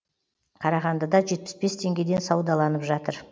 қарағандыда жетпіс бес теңгеден саудаланып жатыр